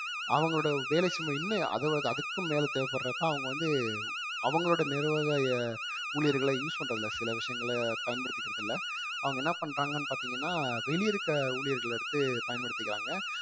அவங்களோட வேலை சுமை இன்னும் அது~ அதுக்கும் மேல தேவைப்படுறப்ப அவங்க வந்து அவங்களோட நிர்வாக ஊழியர்களை use பண்றது இல்ல சில விஷயங்கள பயன்படுத்திக்கிறது இல்ல அவங்க என்ன பண்றாங்கன்னு பார்த்தீங்கன்னா வெளிய இருக்க ஊழியர்கள் எடுத்து பயன்படுத்திக்கிறாங்க